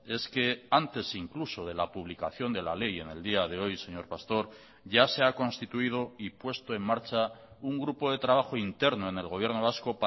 es que antes incluso de la publicación de la ley en el día de hoy señor pastor ya se ha constituido y puesto en marcha un grupo de trabajo interno en el gobierno vasco